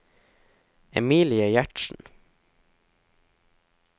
Emilie Gjertsen